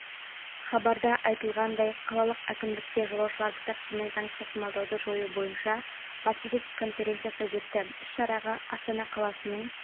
хабарда айтылғандай қалалық әкімдікте жолаушыларды таксимен заңсыз тасымалдауды жою бойынша баспасөз конференциясы өтті іс-шараға астана қаласының